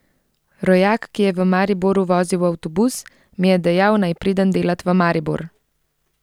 Rojak, ki je v Mariboru vozil avtobus, mi je dejal, naj pridem delat v Maribor.